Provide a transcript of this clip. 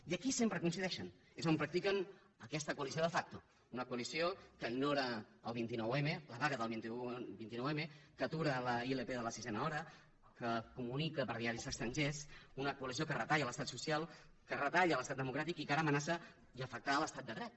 i aquí sempre coincideixen és on practiquen aquesta coalició de factouna coalició que ignora el vint nou m la vaga del vint nou m que atura l’ilp de la sisena hora que comunica per diaris estrangers una coalició que retalla l’estat social que retalla l’estat democràtic i que ara amenaça afectar l’estat de dret